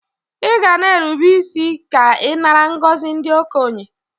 Iga na erube isi ke inara ngozi ndi okenye!!